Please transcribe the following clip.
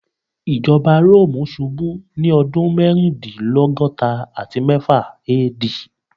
Ijọba Romu ṣubu ni ọdun mẹrindilọgọta ati mẹfa AD